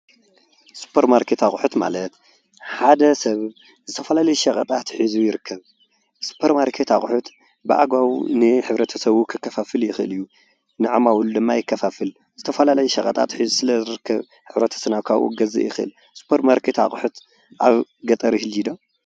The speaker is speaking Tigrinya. ሱፐርማርኬት ኣቑሑት ማለት ሓደ ሰብ ዝተፈላለዩ ሸቀጣት ሒዙ ይርከብ። ሱፐርማርኬት ኣቑሑት ብኣግባቡ ንሕብረተሰቡ ከከፋፍል ይኽእል እዩ። ንዓማዊል ድማ የከፋፍል ዝተፈላለዩ ሸቐጣት ሒዙ ስለ ዝርከብ ሕብረተሰብና ካብኡ ክገዝእ ይኽእል ስፖርማርኬት ኣቑሑት ኣብ ገጠር ይህልዩ ዶ?